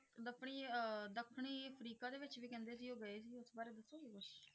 ਦੱਖਣੀ ਅਹ ਦੱਖਣੀ ਅਫਰੀਕਾ ਦੇ ਵਿੱਚ ਵੀ ਕਹਿੰਦੇ ਸੀ ਉਹ ਗਏ ਸੀ ਇਸ ਬਾਰੇ ਦੱਸੋਗੇ ਕੁਛ?